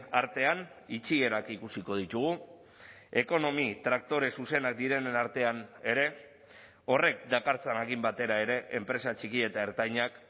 artean itxierak ikusiko ditugu ekonomi traktore zuzenak direnen artean ere horrek dakartzanarekin batera ere enpresa txiki eta ertainak